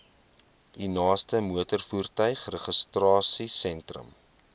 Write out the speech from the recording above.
u naaste motorvoertuigregistrasiesentrum